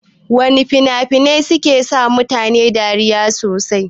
Wana fina-finai ne suke sa mutane dariya sosai?